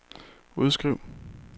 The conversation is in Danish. udskriv